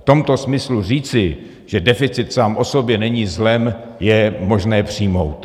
V tomto smyslu říci, že deficit sám o sobě není zlem, je možné přijmout.